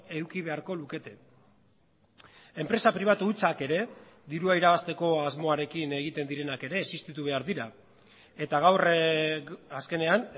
eduki beharko lukete enpresa pribatu hutsak ere dirua irabazteko asmoarekin egiten direnak ere existitu behar dira eta gaur azkenean